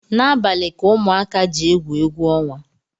N’abalị ka ụmụka ji egwu egwuọnwa